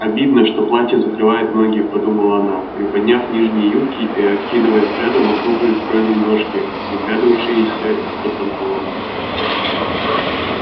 обидно что платье закрывает ноги подумала она приподняв нижние юбки и окидывая взглядом округлые стройные ножки выглядывавшиеся из-под панталон